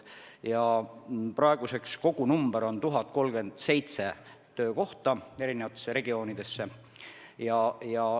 Praeguseks on kogunumber 1037 töökohta eri regioonides.